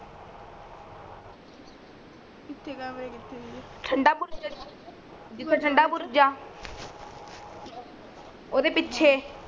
ਕਿੱਥੇ ਕਮਰੇ ਕਿੱਥੇ ਸੀ ਠੰਡਾਪੁਰਜਿੱਥੇ ਠੰਡਾਪੁਰ ਜਾ ਉਦੇ ਪਿਛੇ